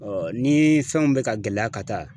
ni fɛnw bɛ ka gɛlɛya ka taa.